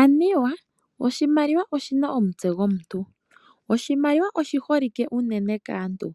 Aniwa oshimaliwa oshi na omutse gomuntu. Oshimaliwa oshi holike unene kaantu